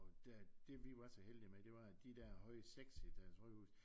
Og der det vi var så heldige med det var at de der høje 6 højhuse